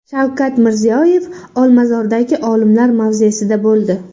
Shavkat Mirziyoyev Olmazordagi olimlar mavzesida bo‘ldi.